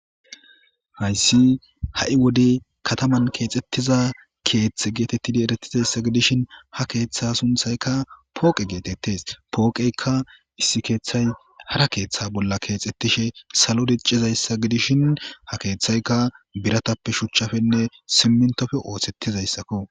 Hayssi ha'i wodey kataman keexxettiza keeththe geetettidi eretizayssa gidishin ha keeththa sunthayka pooqe geetettes. Pooqeyka issi keeththay hara keeththa bolla keexettishe salo diccizayssa gidishin ha keeththayka biratappe,shuchchappenne simintope oothettizayssakko.